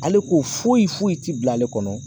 Ale ko foyi foyi ti bila ale kɔnɔ